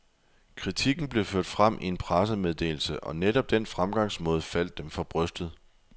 Kritikken blev ført frem i en pressemeddelse, og netop den fremgangsmåde faldt dem for brystet.